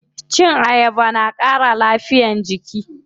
Cin ayaba na ƙara lafiyar jiki.